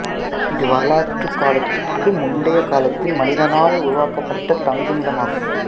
இது வரலாற்று காலத்துக்கு முந்தைய காலத்தில் மனிதனால் உருவாக்கப்பட்ட தங்குமிடம் ஆகும்